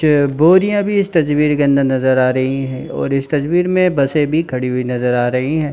Chair बोरियाँ भी इस तजवीर के अंदर नज़र आ रही हैं और इस तस्वीर में बसें भी खड़ी हुई नज़र आ रही हैं।